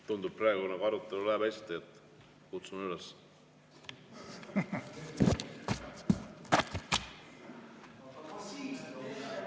Tundub, et praegune arutelu läheb hästi, nii et kutsun sellele üles.